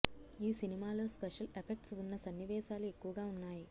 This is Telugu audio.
ఈ సినిమాలో స్పెషల్ ఎఫెక్ట్స్ ఉన్న సన్నివేశాలు ఎక్కువగా ఉన్నాయి